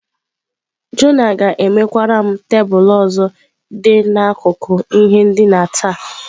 Jona ga-emekwara m tebụl ọzọ dị n’akụkụ ihe ndina taa.